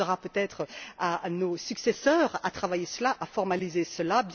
Ce sera peut être à nos successeurs de travailler à cela, de formaliser cela.